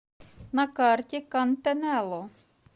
на карте кантанелло